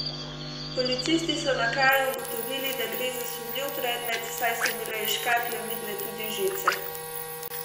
Policisti so na kraju ugotovili, da gre za sumljiv predmet, saj so bile iz škatle vidne tudi žice.